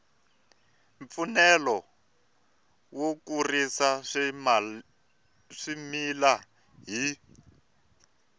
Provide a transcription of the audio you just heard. mfanelo yo kurisa swimila hi